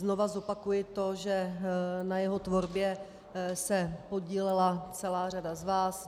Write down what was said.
Znovu zopakuji to, že na jeho tvorbě se podílela celá řada z vás.